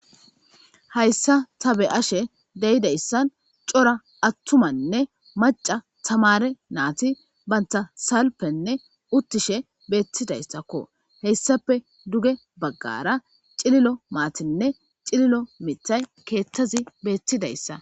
Hayssan ta be'ashe deyidayssan cora attumanne Macca tamare nati bantta salfen uttishe bettidaysakko hessappe dugge baggara cililo mattinne cililo miththay keththazi bettizaysa.